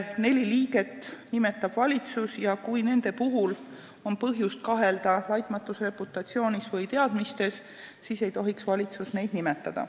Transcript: Neli liiget nimetab valitsus ja kui on põhjust kahelda nende laitmatus reputatsioonis või teadmistes, siis ei tohiks valitsus neid nimetada.